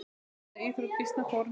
Branda er íþrótt býsna forn.